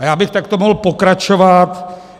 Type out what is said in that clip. A já bych takto mohl pokračovat.